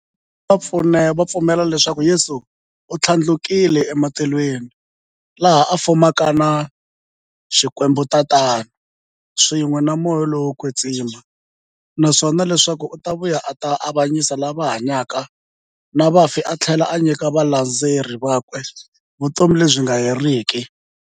Vathlela va pfumela leswaku Yesu u thlandlukele e matilweni, laha a fumaka na Xikwembu-Tatana, swin'we na Moya lowo kwetsima, naswona leswaku u ta vuya a ta avanyisa lava hanyaka na vafi athlela a nyika valandzeri vakwe vutomi lebyi nga heriki.